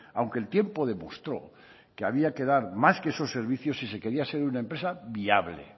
aunque el tiempo demostró que había que dar más que esos servicios si se quería ser una empresa viable